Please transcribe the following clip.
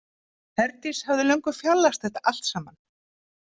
Herdís hafði löngu fjarlægst þetta allt saman.